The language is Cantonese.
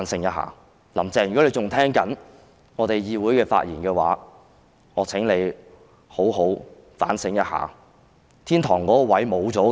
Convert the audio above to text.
如果"林鄭"仍然在聆聽我們在議會內的發言，我請妳也好好地反省，妳已經失去天堂那裏的位置了。